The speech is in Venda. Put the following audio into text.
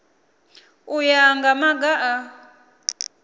u ya nga maga a